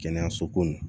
Kɛnɛyaso ko n